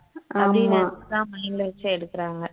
அப்படின்னு நினைச்சுதான் mind ல வச்சே எடுக்குறாங்க